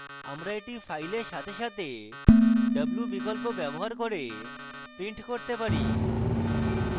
আমরা এটি file সাথে সাথে w বিকল্প ব্যবহার করে print করতে পারি